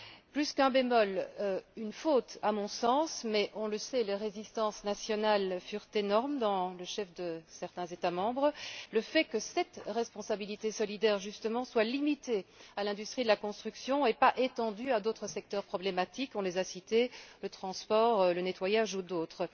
Plus qu'un bémol, une faute, à mon sens, mais on le sait, les résistances nationales furent énormes dans le chef de certains États membres le fait que cette responsabilité solidaire justement soit limitée à l'industrie de la construction et pas étendue à d'autres secteurs problématiques nous les avons cités, le transport, le nettoyage ou d'autres.